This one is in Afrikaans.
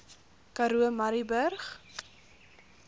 karoo murrayburg